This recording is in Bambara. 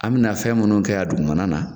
An bɛna na fɛn minnu kɛ a dugumana na